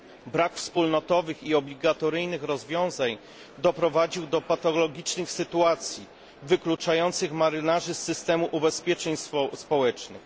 Brak wspólnotowych i obligatoryjnych rozwiązań doprowadził do patologicznych sytuacji, wykluczających marynarzy z systemu ubezpieczeń społecznych.